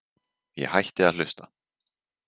Ég hætti að hlusta.